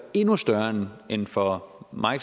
endnu større end for mig